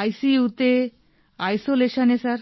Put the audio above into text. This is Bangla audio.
আইসিইউ তে আইসোলেশন এ স্যার